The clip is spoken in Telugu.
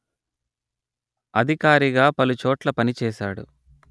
అధికారిగా పలుచోట్ల పనిచేశాడు